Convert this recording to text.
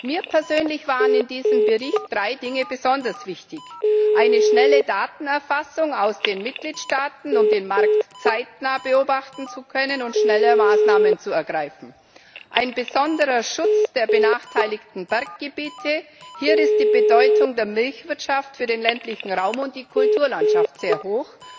Mir persönlich waren in diesem Bericht drei Dinge besonders wichtig eine schnelle Datenerfassung aus den Mitgliedstaaten, um den Markt zeitnah beobachten zu können und schneller Maßnahmen zu ergreifen, ein besonderer Schutz der benachteiligten Berggebiete hier ist die Bedeutung der Milchwirtschaft für den ländlichen Raum und die Kulturlandschaft sehr hoch